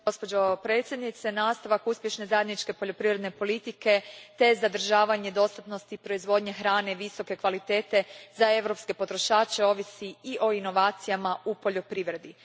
Gospođo predsjednice, nastavak uspješne zajedničke poljoprivredne politike te zadržavanje dostatnosti proizvodnje hrane visoke kvalitete za europske potrošače ovisi i o inovacijama u poljoprivredi.